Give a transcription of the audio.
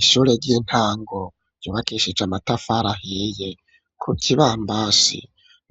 Ishure ry'intango ryubakishije amatafari ahiye ku kibambasi